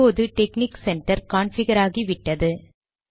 இப்போது technic centre configure ஆகி விட்டது